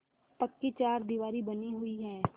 पक्की चारदीवारी बनी हुई है